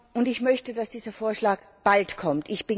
Und ich möchte, dass dieser Vorschlag bald kommt.